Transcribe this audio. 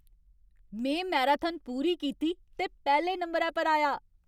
में मैराथन पूरी कीती ते पैह्ले नंबरै पर आया।